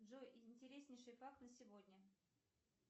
джой интереснейший факт на сегодня